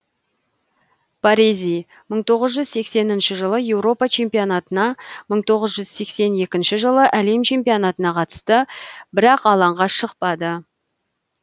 барези мың тоғыз жүз сексенінші жылы еуропа чемпионатына мың тоғыз жүз сексен екінші жылы әлем чемпионатына қатысты бірақ алаңға шықпады